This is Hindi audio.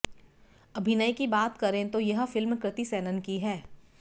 अभिनय की बात करें तो यह फिल्म कृति सेनन की है